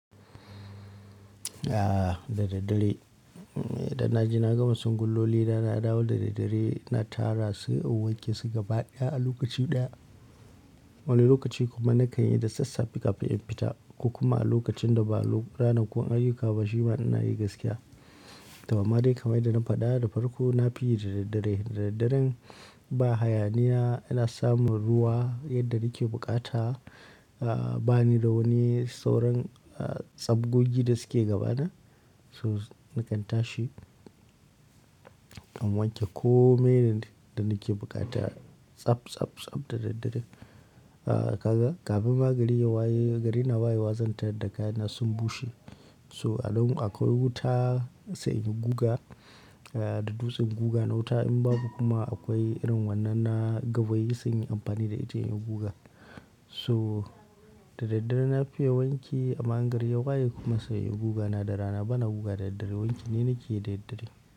Ah, dadadare. Idan na je na gama sungwullolina na dawo dare dare na tara su sai kn wanke su gaba ɗaya a lokaci ɗaya. Wani lokaci kuma na kanyi da sassa fe kafin in fita. Ko kuma a lokacin da ba ranakun ayyuka ba shima ina yi gaskiya. To amma dai kaman yanda na faɗa nafi yi daraddare dareddaren ba hayaniya ina samun ruwa yadda nake bukata, ba ni da wani sauran tsabgogi da suke gabana. So nakan tashi in wanke komai da nake bukata tsab tsab tsab dared dare. Ah kaga, kafin ma gari ya waye, gari na waye wa zan tarar da kayana sun bushe. So a nan akwai wuta sai in yi guga da dutsen guga na wuta in babu kuma akwai irin wannan na gawayi sai in yi amfani da ita in yi guga. So dareddare na fiye wanki amma in gari ya waye kuma sai in yi guga na da rana bana guga daraddare wanki ne nake yi dareddare.